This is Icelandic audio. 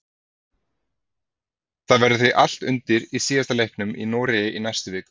Það verður því allt undir í síðari leiknum í Noregi í næstu viku.